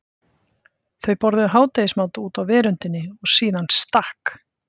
Þau borðuðu hádegismat úti á veröndinni og síðan stakk